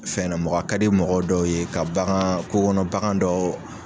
O fɛn ɲɛnɛ mɔgɔ, a kadi mɔgɔ dɔw ye ka bagan kokɔnɔ bagan dɔ.